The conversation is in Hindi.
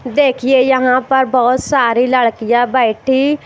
देखिए यहां पर बहुत सारी लड़कियां बैठी--